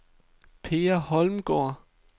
Per Holmgaard